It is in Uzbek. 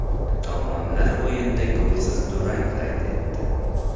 Tomonlar o‘yinda golsiz durang qayd etdi.